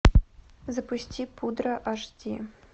запусти пудра аш ди